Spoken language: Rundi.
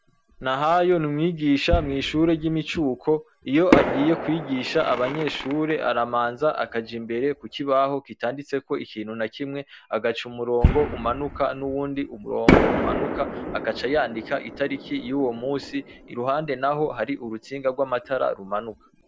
Nahayo ni umwigisha mwishure ryimicuko, iyo bagiye kwigisha abanyeshure aramanza akaja Imbere kukibaho kitanditseko ikintu na kimwe agaca umurongo umanuka nuwundi mirongo umanuka agaca yandika itarike yuwo munsi iruhande naho hari urutsinga rwa matara rumanuka.